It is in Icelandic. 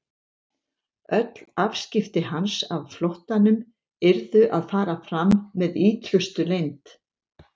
Öll afskipti hans af flóttanum yrðu að fara fram með ítrustu leynd.